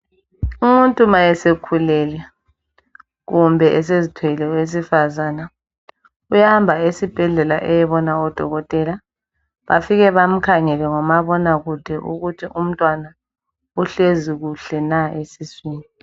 Umuntu ma esekhulelwe kumbe esezithwele owesifazana uyahamba esibhedlele eyebona odokotela bafike bamukhangele ngumabona kude ukuthi umntwana uhlezi kuhle na esiswini.